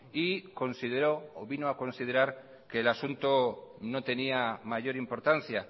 y vino a considerar que el asunto no tenía mayor importancia